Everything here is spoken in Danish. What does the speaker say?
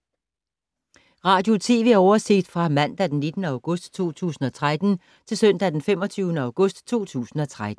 Radio/TV oversigt fra mandag d. 19. august 2013 til søndag d. 25. august 2013